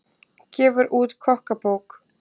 Gefur út kokkabók